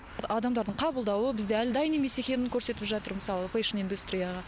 адамдардың қабылдауы бізде әлі дайын емес екенін көрсетіп жатыр мысалы фэшн индустрияға